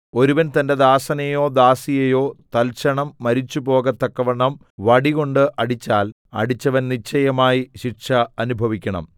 ഒരുവൻ തന്റെ ദാസനെയോ ദാസിയെയോ തൽക്ഷണം മരിച്ചുപോകത്തക്കവണ്ണം വടികൊണ്ട് അടിച്ചാൽ അടിച്ചവൻ നിശ്ചയമായി ശിക്ഷ അനുഭവിക്കണം